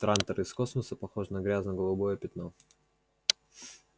трантор из космоса похож на грязно-голубое пятно